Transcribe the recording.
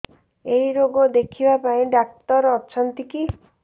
ଏଇ ରୋଗ ଦେଖିବା ପାଇଁ ଡ଼ାକ୍ତର ଅଛନ୍ତି କି